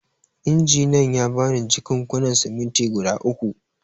Injiniyan ya ba ni jakunkunan siminti guda uku.